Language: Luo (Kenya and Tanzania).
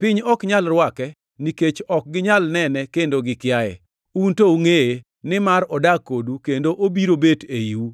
Piny ok nyal rwake, nikech ok ginyal nene kendo gikiaye. Un to ungʼeye, nimar odak kodu kendo obiro bet eiu.